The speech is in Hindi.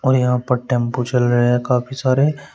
यहां पर टेंपू चल रहे हैं काफी सारे--